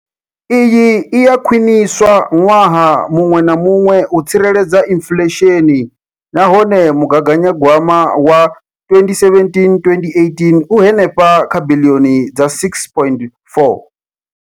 Iyi i a khwiniswa ṅwaha muṅwe na muṅwe u tsireledza inflesheni nahone mugaganya gwama wa 2017,18 u henefha kha biḽioni dza R6.4.